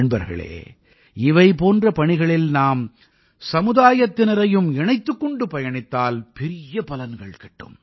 நண்பர்களே இவை போன்ற பணிகளில் நாம் சமுதாயத்தினரையும் இணைத்துக் கொண்டு பயணித்தால் பெரிய பலன்கள் கிட்டும்